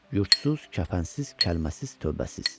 Yurtsuz, kəfənsiz, kəlməsiz, tövbəsiz.